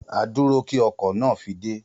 A dúró kí ọkọ̀ náà fi dé